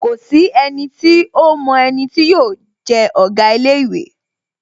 Kòsí enití ómo eni tí yóò je Òga ilé īwé